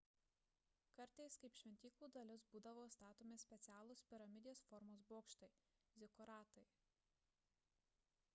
kartais kaip šventyklų dalis būdavo statomi specialūs piramidės formos bokštai – zikuratai